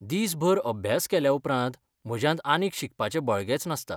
दिसभर अभ्यास केल्याउपरांत म्हज्यांत आनीक शिकपाचें बळगेंच नासता.